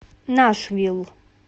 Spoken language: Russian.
нашвилл